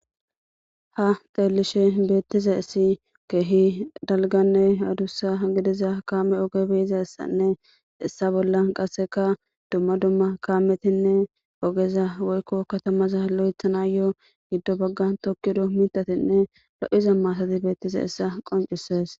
Tha xeelishee beeththizayssi keehi dalgganne adussa gidiza kaame oge be7izayssanne issa bollan qassika dumma dumma kaamethinne ogeza woykko kathamaza loyththanaayyoo giddo baggan thokkido miththathinne lo7iza maathathi beeththizayssa qonccissees.